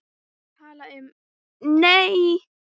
Tala um, nei!